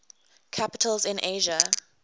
capitals in asia